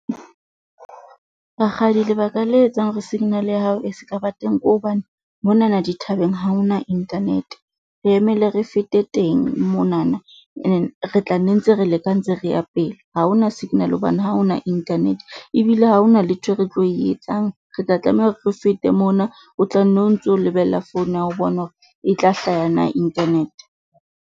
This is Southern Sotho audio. Rakgadi lebaka le etsang hore signal ya hao e ska ba ba teng ke hobane, monana dithabeng ha ho na internet. Re emele re fete teng monana ene re tla nne ntse re leka ntse re ya pele. Ha ho na signal hobane ha ho na internet ebile ha hona letho re tlo le etsang. Re tla tlameha, re fete mona, o tla no ntso lebella phone ya hao o bone hore e tla hlaha na internet.